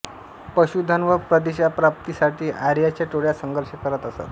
पशुधन व प्रदेशप्राप्तीसाठी आर्यांच्या टोळ्या संघर्ष करत असत